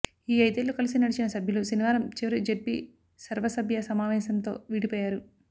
ఈ ఐదేళ్లు కలిసి నడిచిన సభ్యులు శనివారం చివరి జెడ్పీ సర్వసభ్య సమావేశంతో విడిపోయారు